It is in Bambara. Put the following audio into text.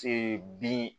bin